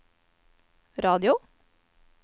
radio